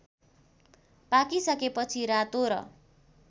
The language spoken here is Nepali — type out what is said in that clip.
पाकिसकेपछि रातो र